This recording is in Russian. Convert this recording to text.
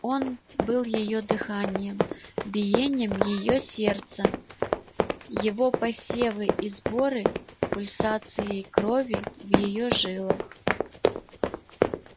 он был её дыханием биением её сердца его посевы и сборы пульсацией крови в её жилах